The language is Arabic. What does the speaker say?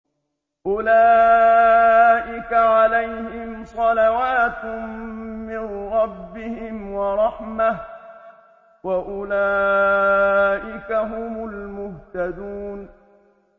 أُولَٰئِكَ عَلَيْهِمْ صَلَوَاتٌ مِّن رَّبِّهِمْ وَرَحْمَةٌ ۖ وَأُولَٰئِكَ هُمُ الْمُهْتَدُونَ